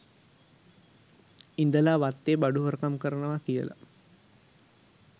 ඉඳලා වත්තේ බඩු හොරකම් කරනවා කියලා.